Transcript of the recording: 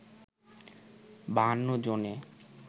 ৫২ জনে